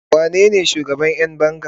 wanene shugaban Yan banga?